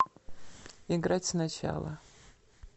играть сначала